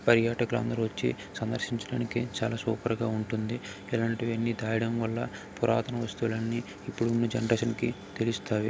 పర్యాటకులు అందరు వచ్చి సందర్శించడానికి చాలా సూపర్ గా ఉంటుంది. ఇలాంటివి అన్ని దా యడం వల్ల పురాతన వస్తువులన్నీ ఇప్పుడు ఉన్న జనరేషన్ కి తెలుస్తాయి.